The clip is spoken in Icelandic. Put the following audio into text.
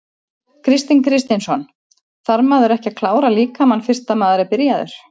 Kristinn Kristinsson: Þarf maður ekki að klára líkamann fyrst að maður er byrjaður?